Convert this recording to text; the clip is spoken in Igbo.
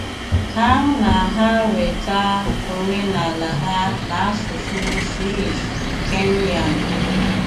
Há ná há wéta óménálá ha ná ásụsụ Swíss-Kényán.